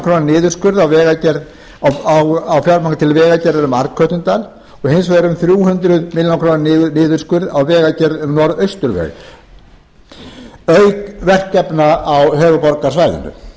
króna niðurskurð á fjármagni til vegagerðar um arnkötludal og hins vegar um þrjú hundruð milljóna króna niðurskurð á vegagerð um norðausturveg auk verkefna á höfuðborgarsvæðinu